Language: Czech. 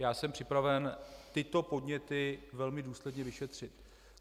Já jsem připraven tyto podněty velmi důsledně vyšetřit.